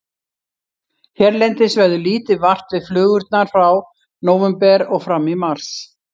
Hérlendis verður lítið vart við flugurnar frá nóvember og fram í mars.